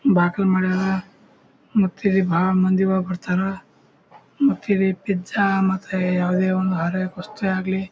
ಬಾಕಿಲ್ ಮಾಡ್ಯಾರ ಮತ್ ಇಲ್ಲಿ ಬಹಳ ಮಂದಿ ಒಳಗ್ ಬರ್ತಾರಾ ಮತ್ತೆ ಇಲ್ಲಿ ಪಿಜ್ಜಾ ಮತ್ತೆ ಯಾವದೇ ಒಂದು ವಸ್ತು ಆಗ್ಲಿ.